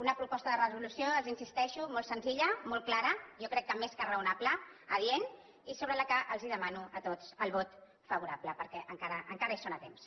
una proposta de resolució els insisteixo molt senzilla molt clara jo crec que més que raonable adient i sobre la qual els demano a tots el vot favorable per què encara hi són a temps